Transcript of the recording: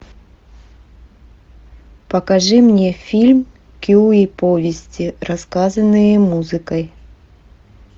покажи мне фильм кюи повести рассказанные музыкой